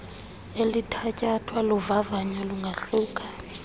elithatyathwa luvavanyo lungahluka